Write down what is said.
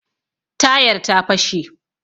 Tayar ta fashe